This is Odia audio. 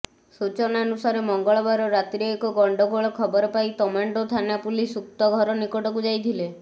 ସୂଚନାନୁସାରେ ମଙ୍ଗଳବାର ରାତିରେ ଏକ ଗଣ୍ଡଗୋଳ ଖବର ପାଇ ତମାଣ୍ଡୋ ଥାନା ପୁଲିସ ଉକ୍ତ ଘର ନିକଟକୁ ଯାଇଥିଲେ